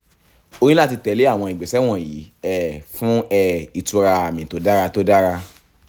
o ní láti tẹ̀lé àwọn ìgbésẹ̀ wọ̀nyí um fún um ìtura àmì tó dára tó dára